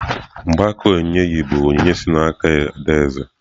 Mgbaaka nkechi yi bụ onyinye si n'aka adaeze.